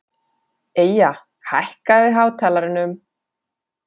Eyja, hækkaðu í hátalaranum.